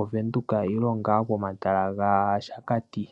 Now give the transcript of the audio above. Ovenduka nenge ngaa omatala gaShakati.